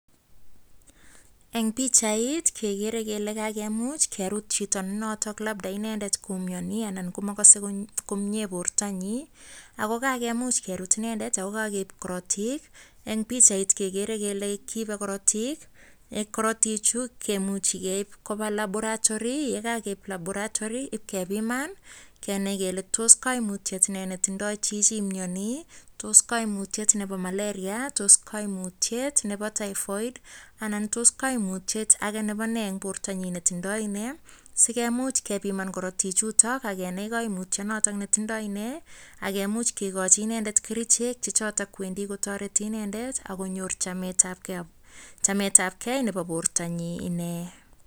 En bichait kegere kele kakemuch kerut Chito NE noton labda koumyoni Alan Komokose komnye bortonyin ako kakemuch kerut inendet ako kakeib korotik en bichait kegere kele kibe korotik, korotik Chu kemuche keib Koba laboratory yekakeib laboratory kebiman Kenai kele tos koimutyoni ainon netinye Chichi nemyani tos kaimuyiet Nebo malaria kaimuyiet Nebo typhoid anan tos kaimuyiet ainon Nebo nee en bortonyin netindoi neeh sigemuch kebiman korotik chuton Kenai kaimuyik chuton neyindai inei ak kemuche kekai inendetkercheck Che choton ak kowendii kotareti inendet ak konyor chamet ab gei Nebo bortanyin inee